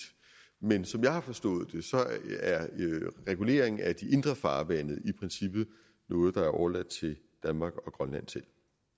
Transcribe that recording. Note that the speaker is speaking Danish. men som jeg har forstået det er reguleringen af de indre farvande i princippet noget der er overladt til danmark og grønland selv